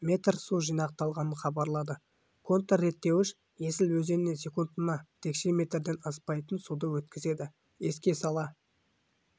метр су жинақталғанын хабарлады контрреттеуіш есіл өзеніне секундына текше метрден аспайтын суды өткізеді еске сала